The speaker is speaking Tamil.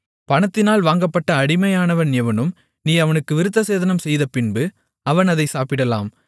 பணத்தினால் வாங்கப்பட்ட அடிமையானவன் எவனும் நீ அவனுக்கு விருத்தசேதனம் செய்தபின்பு அவன் அதைச் சாப்பிடலாம்